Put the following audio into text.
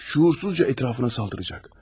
Şüursuzca ətrafına hücum edəcək.